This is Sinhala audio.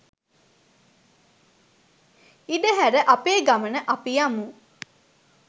ඉඩ හැර අපේ ගමන අපි යමු.